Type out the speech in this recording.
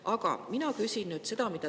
Aga mina küsin nüüd seda.